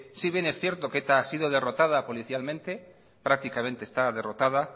si que bien es cierto que eta ha sido derrotada policialmente prácticamente está derrotada